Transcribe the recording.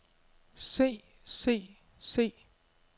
se se se